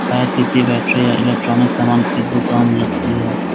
शायद किसी बैटरी या इलेक्ट्रॉनिक सामान की दुकान लगती है।